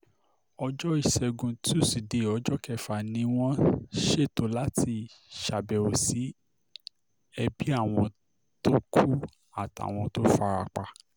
ọjọ́ ìṣègùn túṣídẹ̀ẹ́ ọjọ́ kẹfà ni wọ́n ṣètò láti ṣàbẹ̀wò sí ẹbí àwọn tó kù àtàwọn tó fara pa